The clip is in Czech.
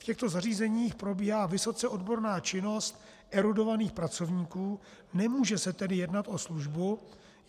V těchto zařízeních probíhá vysoce odborná činnost erudovaných pracovníků, nemůže se tedy jednat o službu.